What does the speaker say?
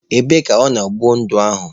Ebee ka ọ nọrọ kwụọ ụdọ ahụ?